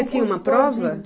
E tinha uma prova?